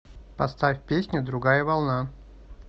поставь песня другая волна